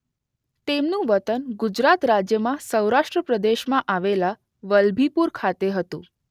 તેમનું વતન ગુજરાત રાજ્યમાં સૌરાષ્ટ્ર પ્રદેશમાં આવેલા વલભીપુર ખાતે હતું.